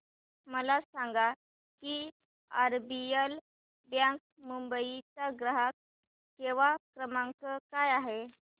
मला सांगा की आरबीएल बँक मुंबई चा ग्राहक सेवा क्रमांक काय आहे